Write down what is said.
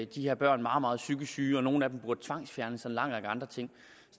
de her børn meget meget psykisk syge og at nogle af dem burde tvangsfjernes og en lang række andre ting